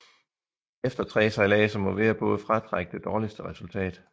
Efter tre sejladser må hver båd fratrække det dårligste resultat